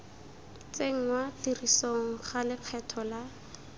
tsenngwa tirisong ga lekgetho la